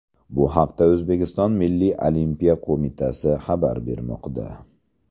Bu haqda O‘zbekiston Milliy olimpiya qo‘mitasi xabar bermoqda .